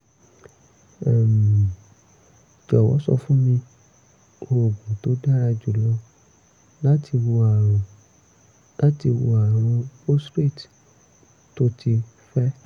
um jọ̀wọ́ sọ fún mi oògùn tó dára jùlọ láti wo àrùn láti wo àrùn prostate tó ti fẹ̀